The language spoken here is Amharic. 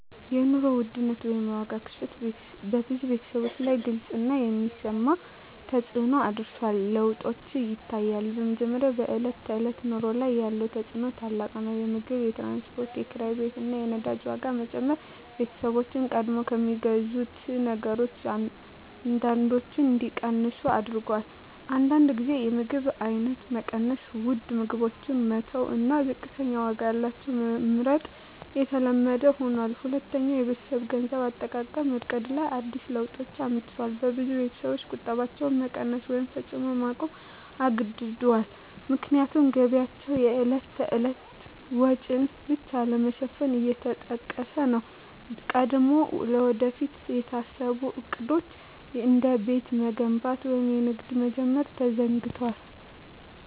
የኑሮ ውድነት (የዋጋ ግሽበት) በብዙ ቤተሰቦች ላይ ግልጽ እና የሚሰማ ተፅዕኖ አሳድሯል። ለውጦች ይታያሉ፦ በመጀመሪያ፣ በዕለት ተዕለት ኑሮ ላይ ያለው ተፅዕኖ ታላቅ ነው። የምግብ፣ የትራንስፖርት፣ የኪራይ ቤት እና የነዳጅ ዋጋ መጨመር ቤተሰቦችን ቀድሞ ከሚገዙት ነገሮች አንዳንዶቹን እንዲቀንሱ አድርጎአል። አንዳንድ ጊዜ የምግብ አይነት መቀየር (ውድ ምግቦችን መተው እና ዝቅተኛ ዋጋ ያላቸውን መመርጥ) የተለመደ ሆኗል። ሁለተኛ፣ በቤተሰብ የገንዘብ አጠቃቀም ዕቅድ ላይ አዲስ ለውጦች አመጣ። ብዙ ቤተሰቦች ቁጠባቸውን መቀነስ ወይም ፈጽሞ ማቆም ተገድደዋል፣ ምክንያቱም ገቢያቸው የዕለት ተዕለት ወጪን ብቻ ለመሸፈን እየተጠቀሰ ነው። ቀድሞ ለወደፊት የታሰቡ ዕቅዶች፣ እንደ ቤት መገንባት ወይም ንግድ መጀመር፣ ተዘግደዋል።